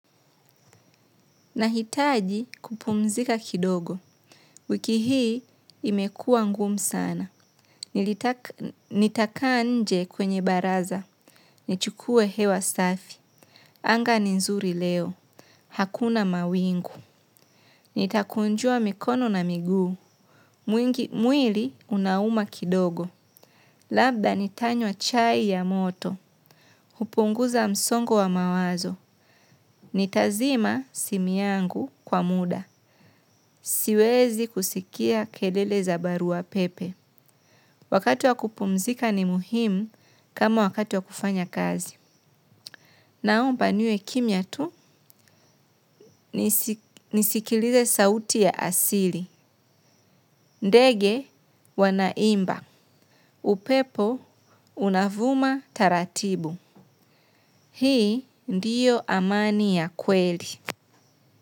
Nahitaji kupumzika kidogo, wiki hii imekua ngumu sana, nilitaka nitakaanje kwenye baraza, nichukue hewa safi, anga ni nzuri leo, hakuna mawingu, nitakunjua mikono na miguu, mwingi mwili unauma kidogo, labda nitanywa chai ya moto, upunguza msongo wa mawazo, nitazima simi yangu kwa muda, siwezi kusikia kelele za barua pepe. Wakati wa kupumzika ni muhimu kama wakati wa kufanya kazi. Naomba niwe kimya tu nisikilize sauti ya asili. Ndege wanaimba. Upepo unavuma taratibu. Hii ndiyo amani ya kweli.